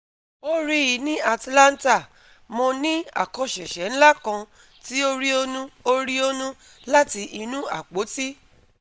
O rii ni Atlanta mo ni akosese nla kan ti o rionu o rionu lati inu apoti